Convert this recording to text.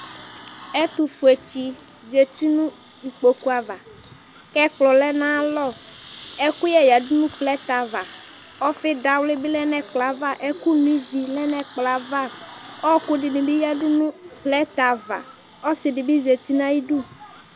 ɛtofue tsi zati no ikpoku ava k'ɛkplɔ lɛ n'aya lɔ ɛkòyɛ yadu no plɛtɛ ava ɔfi dawli bi lɛ n'ɛkplɔɛ ava ɔkò no ivi lɛ n'ɛkplɔɛ ava ɔku dini bi yadu no plɛtɛ ava ɔse di bi zati n'ayidu